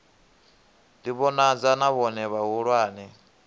ḓi vhonadza na vhone vhahulwane